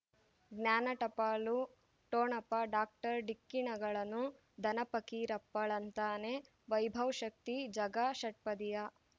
ಜ್ಞಾನ ಟಪಾಲು ಠೊಣಪ ಡಾಕ್ಟರ್ ಢಿಕ್ಕಿ ಣಗಳನು ಧನ ಪಕೀರಪ್ಪ ಳಂತಾನೆ ವೈಭವ್ ಶಕ್ತಿ ಝಗಾ ಷಟ್ಪದಿಯ